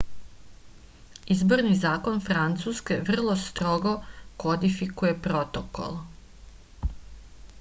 izborni zakon francuske vrlo strogo kodifikuje protokol